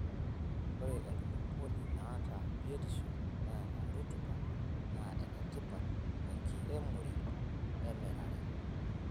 Ore enkulupuoni naata biotisho neeta rutuba naa enetipat tenkiremore emirare.